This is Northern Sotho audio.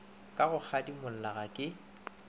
ka go kgadimola ga ke